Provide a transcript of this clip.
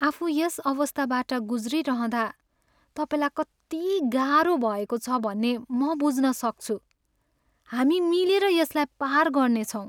आफू यस अवस्थाबाट ग्रुज्रिरहँदा तपाईँलाई कति गाह्रो भएको छ भन्ने म बुझ्न सक्छु! हामी मिलेर यसलाई पार गर्नेछौँ।